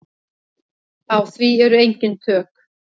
Á því eru ekki tök.